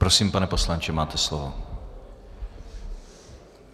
Prosím, pane poslanče, máte slovo.